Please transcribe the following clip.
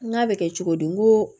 N k'a bɛ kɛ cogo di n ko